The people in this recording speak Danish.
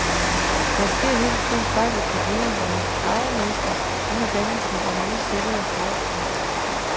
Der sker hele tiden fejl i kopieringen af arvemassen under dannelsen af nye celler i kroppen.